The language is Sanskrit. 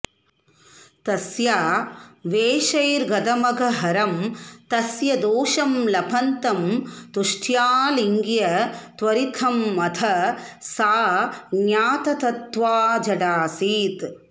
तस्या वेशैर्गतमघहरं तस्य दोषं लपन्तं तुष्ट्यालिङ्ग्य त्वरितमथ सा ज्ञाततत्त्वा जडासीत्